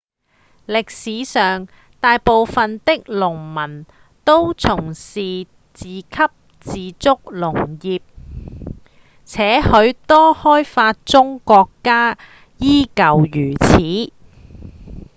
歷史上大部分的農民都從事自給自足農業且許多開發中國家依舊如此